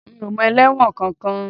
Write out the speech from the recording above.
Mi ò mọ ẹlẹ́wọ̀n kankan